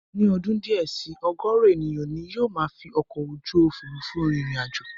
Ní ọdún díẹ̀ si, ọ̀gọ̀ọ̀rọ̀ ènìyàn ni yóò máa fi ọkọ̀ ojú òfurufú rin ìrìn àjò